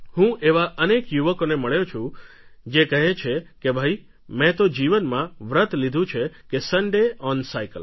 હું એવા અનેક યુવકોને મળ્યો છું જે કહે છે કે ભઈ મેં તો જીવનમાં વ્રત લીધું છે કે સન્ડે ઓન સાઇકલ